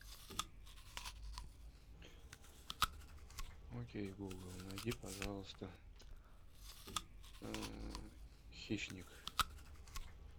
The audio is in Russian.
окей гугл найди пожалуйста хищник